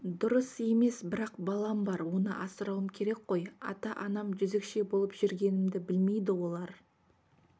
дұрыс емес бірақ балам бар оны асырауым керек қой ата-анам жезөкше болып жүргенімді білмейді олар